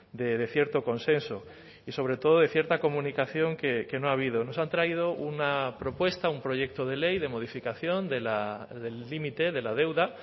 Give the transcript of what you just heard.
de cierto consenso y sobre todo de cierta comunicación que no ha habido nos han traído una propuesta un proyecto de ley de modificación del límite de la deuda